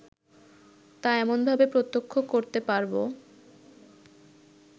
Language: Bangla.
তা এমনভাবে প্রত্যক্ষ করতে পারব